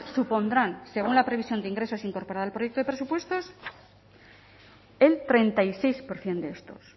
supondrán según la previsión de ingresos incorporada al proyecto de presupuestos el treinta y seis por ciento de estos